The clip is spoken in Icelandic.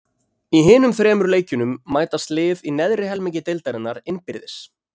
Í hinum þremur leikjunum mætast lið í neðri helmingi deildarinnar innbyrðis.